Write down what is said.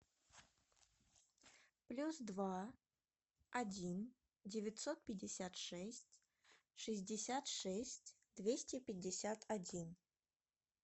плюс два один девятьсот пятьдесят шесть шестьдесят шесть двести пятьдесят один